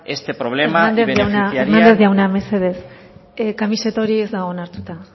este problema hernández jauna mesedez kamiseta hori ez dago onartuta